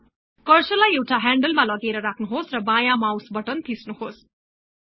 कर्सरलाई एउटा ह्यान्डलमा लगेर राख्नुहोस् र बायाँ माउट बटन थिच्नुहोस्